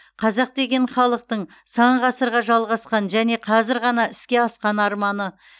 қазақ деген халықтың сан ғасырға жалғасқан және қазір ғана іске асқан арманы